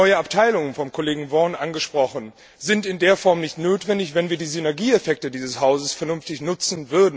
Neue Abteilungen von Kollege Vaughan angesprochen sind in der Form nicht notwendig, wenn wir die Synergieeffekte dieses Hauses vernünftig nutzen.